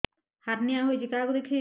hernia ହୋଇଛି କାହାକୁ ଦେଖେଇବି